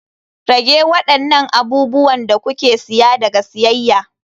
Rage waɗannan abubuwan da kuke siya daga siyayya.